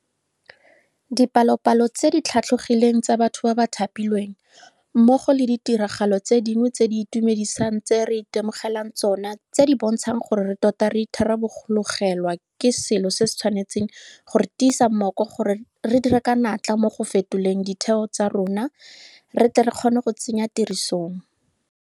Dipalopalo tse di tlhatlhogileng tsa batho ba ba thapilweng, mmogo le ditiragalo tse dingwe tse di itumedisang tse re itemogelang tsona tse di bontshang gore re tota re itharabologelwa ke selo se se tshwanetseng go re tiisa mmoko gore re dire ka natla mo go fetoleng ditheo tsa rona re tle re kgone go tsenya tirisong